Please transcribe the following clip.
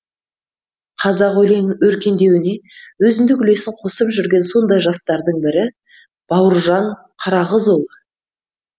қазақ өлеңінің өркендеуіне өзіндік үлесін қосып жүрген сондай жастардың бірі бауыржан қарағызұлы